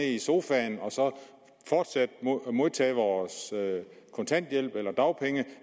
i sofaen og fortsat modtage vores kontanthjælp eller dagpenge